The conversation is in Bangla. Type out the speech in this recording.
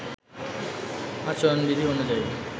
আচরণবিধি অনুযায়ী